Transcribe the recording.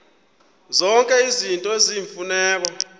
zonke izinto eziyimfuneko